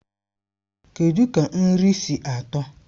Kedụ ka nri si atọ?